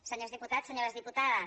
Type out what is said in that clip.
senyors diputats senyors dipu·tades